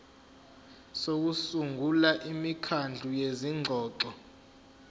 sokusungula imikhandlu yezingxoxo